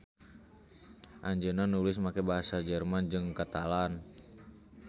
Anjeunna nulis make basa Jerman jeung Katalan.